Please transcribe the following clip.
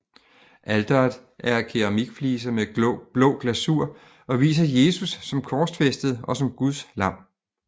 Alteret er af keramikfliser med blå glasur og viser Jesus som korsfæstet og som Guds lam